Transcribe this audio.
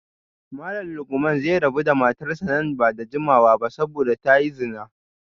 Malam Lukman zai rabu da matarsa ​​nan ba da jimawa ba saboda ta yi zina